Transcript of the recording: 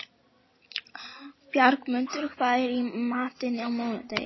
Bjargmundur, hvað er í matinn á mánudaginn?